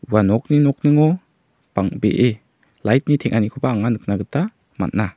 ua nokni nokningo bang·bee light-ni teng·anikoba anga nikna gita man·a.